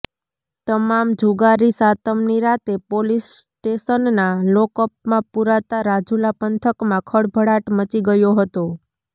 તમામ જુગારી સાતમની રાતે પોલીસ સ્ટેશનના લોકઅપમાં પૂરાતા રાજુલા પંથકમાં ખળભળાટ મચી ગયો હતો